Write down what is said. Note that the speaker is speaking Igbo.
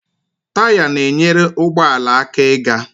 Taya na-enyere ụgbọala aka ịga